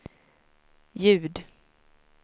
ljud